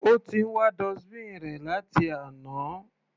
Ó ti ń wá dustbin rẹ̀ láti àná.